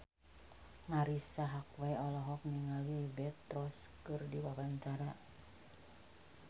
Marisa Haque olohok ningali Liberty Ross keur diwawancara